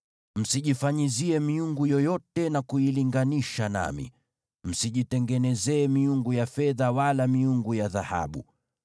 Msijifanyizie miungu yoyote na kuilinganisha nami, msijitengenezee miungu ya fedha wala miungu ya dhahabu.